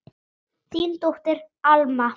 Þín dóttir, Alma.